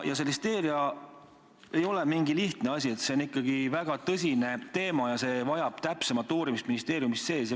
Listeeria ei ole mingi lihtne asi, see on ikkagi väga tõsine teema ja vajab ministeeriumis täpsemat uurimist.